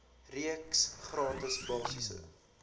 reeks gratis basiese